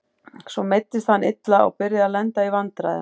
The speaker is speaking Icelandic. Svo meiddist hann illa og byrjaði að lenda í vandræðum.